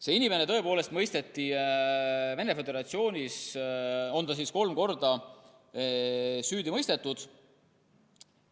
See inimene on tõepoolest Venemaa Föderatsioonis kolmel korral süüdi mõistetud.